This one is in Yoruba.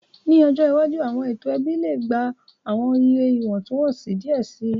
Ni ọjọ iwaju, awọn eto ẹbi le gba awọn iye iwọntunwọnsi diẹ sii,